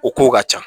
O kow ka ca